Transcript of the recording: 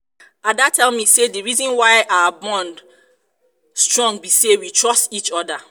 ada tell me say the reason why our bond why our bond strong be say we trust each other